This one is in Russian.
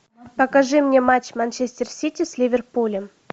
покажи мне матч манчестер сити с ливерпулем